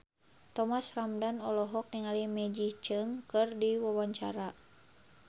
Thomas Ramdhan olohok ningali Maggie Cheung keur diwawancara